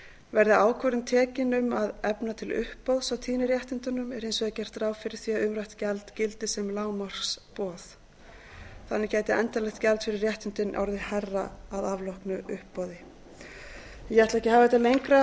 verði ákvörðun tekin um að efna til uppboðs á tíðniréttindunum er hins vegar gert ráð fyrir því að umrætt gjald gildi sem lágmarksboð þannig gæti endanlegt gjald fyrir réttindin orðið hærra að afloknu uppboði ég ætla ekki að hafa þetta lengra